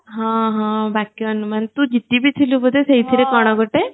ହଁ ହଁ ବାକ୍ୟ ଅନୁମାନ ତୁ ଜିତି ଭି ଥିଲୁ ବଧେ ସେଥିରେ କଣ ଗଟେ